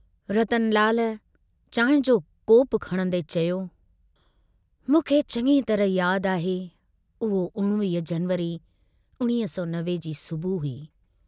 रतनलाल चांहि जो कोपु खणंदे चयो, मूंखे चङी तरह याद आहे, उहो 19 जनवरी 1990 जी सुबुह हुई।